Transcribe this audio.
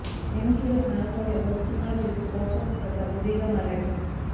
young hero Naga Shaurya వరుస సినిమాలు చేస్తూ బాక్సాఫీస్ వద్ద బిజీగా మారాడు